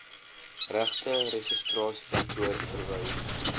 regte registrasiekantoor verwys